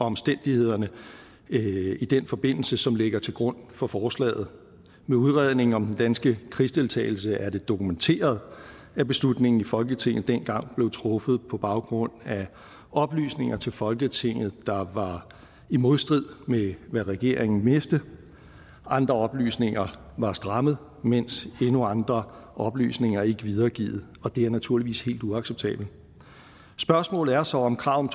omstændighederne i den forbindelse som ligger til grund for forslaget med udredningen om den danske krigsdeltagelse er det dokumenteret at beslutningen i folketinget dengang blev truffet på baggrund af oplysninger til folketinget der var i modstrid med det regeringen vidste andre oplysninger var strammet mens endnu andre oplysninger ikke blev videregivet det er naturligvis helt uacceptabelt spørgsmålet er så om kravet